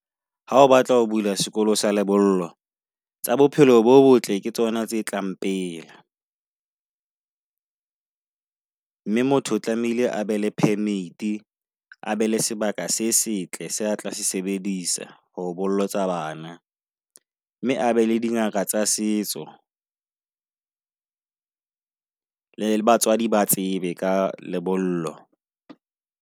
Ha o batla ho bula sekolo sa lebollo tsa bophelo bo botle ke tsona tse tlang pele. Mme motho o tlamehile a be le permit a be le sebaka se setle. Se atla s sebedisa ho bolotsa bana. Mme abe le dingaka tsa setso, le batswadi ba tsebe ka lebollo.